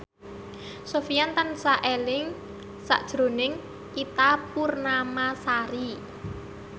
Sofyan tansah eling sakjroning Ita Purnamasari